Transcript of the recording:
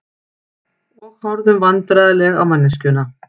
Og horfðum vandræðaleg á manneskjuna.